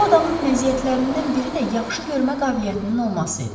Bu adamın məziyyətlərindən biri də yaxşı görmə qabiliyyətinin olması idi.